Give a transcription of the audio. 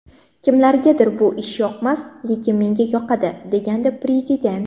Kimlargadir bu ish yoqmas, lekin menga yoqadi” degandi Prezident.